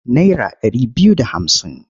Naira ɗari biyu da hamsin.